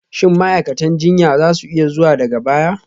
Shin ma'aikatan jinya za su iya zuwa daga baya?